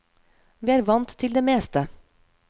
Vi er vant til det meste.